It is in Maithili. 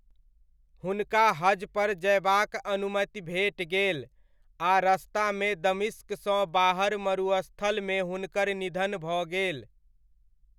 हुनका हजपर जयबाक अनुमति भेटि गेल आ रस्तामे दमिश्कसँ बाहर मरुस्थलमे हुनकर निधन भऽ गेल।